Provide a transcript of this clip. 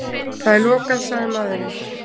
Það er lokað, sagði maðurinn.